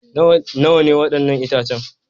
Nawa ne waɗannan itacen?